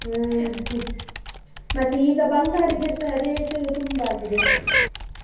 ಅಹ್ ಹ್ಮ್ ಮತ್ತೆ ಈಗ ಬಂಗಾರಗೆಸ rate ತುಂಬಾ ಆಗಿದೆ,